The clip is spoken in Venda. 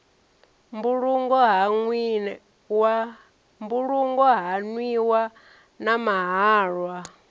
mbulungo ha nwiwa na mahalwa